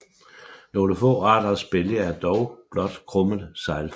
Nogle få arters bælge er dog blot krummet seglformet